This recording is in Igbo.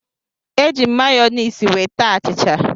Eji m mayọnesị wee taa achịcha.